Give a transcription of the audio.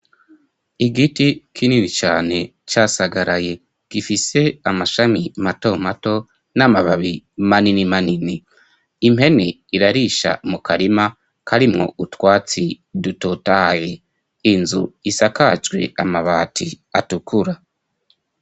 Igiti kinini cane casagaraye gifise amashami mato mato n'amababi manini manini impeni irarisha mu karima karimwo utwatsi dutotahaye inzu isakajwe amabati atukura.